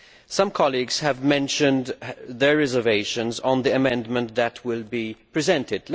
Some colleagues have mentioned their reservations on the amendment that is to be presented.